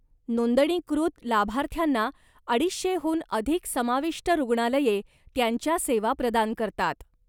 नोंदणीकृत लाभार्थ्यांना अडीशे हून अधिक समाविष्ट रुग्णालये त्यांच्या सेवा प्रदान करतात.